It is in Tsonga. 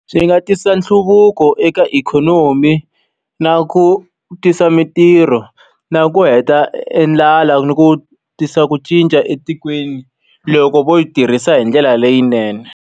Swi nga tisa nhluvuko eka ikhonomi, na ku tisa mintirho, na ku heta e ndlala, ni ku tisa ku cinca etikweni loko vo yi tirhisa hi ndlela leyinene.